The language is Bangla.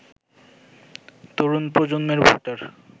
তরুণ প্রজন্মের ভোটার